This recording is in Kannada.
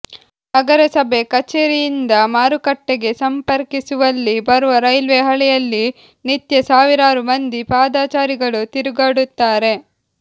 ನಗರಸಭೆ ಕಚೇರಿಯಿಂದ ಮಾರುಕಟ್ಟೆಗೆ ಸಂಪರ್ಕಿಸುವಲ್ಲಿ ಬರುವ ರೈಲ್ವೆ ಹಳಿಯಲ್ಲಿ ನಿತ್ಯ ಸಾವಿರಾರು ಮಂದಿ ಪಾದಚಾರಿಗಳು ತಿರುಗಾಡುತ್ತಾರೆ